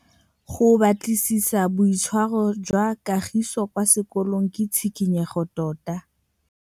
Go batlisisa ka boitshwaro jwa Kagiso kwa sekolong ke tshikinyêgô tota.